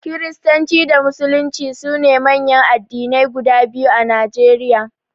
Kiristanci da Musulunci su ne manyan addinai guda biyu a Najeriya.